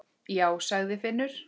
Já, sagði Finnur.